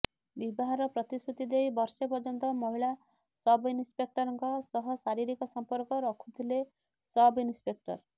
ବିବାହର ପ୍ରତିଶ୍ରୁତି ଦେଇ ବର୍ଷେ ପର୍ଯ୍ୟନ୍ତ ମହିଳା ସବ୍ ଇନ୍ସ୍ପେକ୍ଟରଙ୍କ ସହ ଶାରୀରିକ ସଂପର୍କ ରଖୁଥିଲେ ସବଇନସ୍ପେକ୍ଟର